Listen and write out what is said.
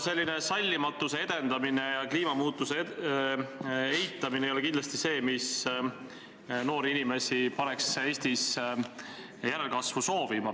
Selline sallimatuse edendamine ja kliimamuutuse eitamine ei pane kindlasti noori inimesi Eestis järelkasvu soovima.